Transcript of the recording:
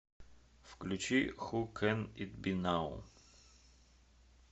включи ху кэн ит би нау